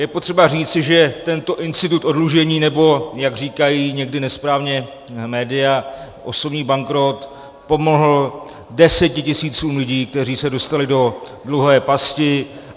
Je potřeba říci, že tento institut oddlužení, nebo jak říkají někdy nesprávně média osobní bankrot, pomohl desetitisícům lidí, kteří se dostali do dluhové pasti.